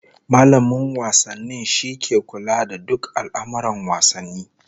Mallamin wasanni shine ke kula da duk al'amurran wasanni